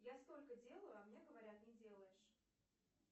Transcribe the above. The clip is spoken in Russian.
я столько делаю а мне говорят не делаешь